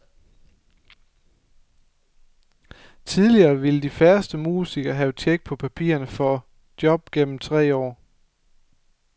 Tidligere ville de færreste musikere have tjek på papirerne for job gennem tre år.